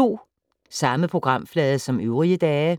Samme programflade som øvrige dage